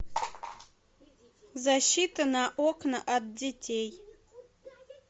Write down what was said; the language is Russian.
защита на окна от детей